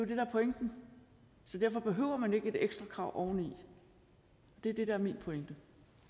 det der er pointen så derfor behøver man ikke et ekstra krav oveni det er det der er min